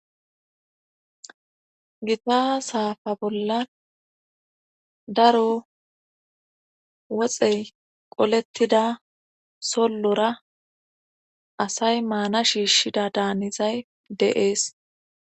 Gita saafa bolla daro woxey qolettida sollora asay maana shiishshida daanizay deees.